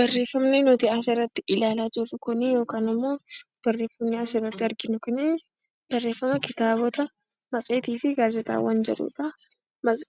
Barreeffamni asirratti argaa jirru Kun barreeffama kitaabota, matseetii fi gaazexaawwan jedhudha.